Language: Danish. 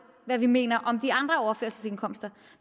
hvad vi mener om de andre overførselsindkomster